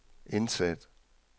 indsæt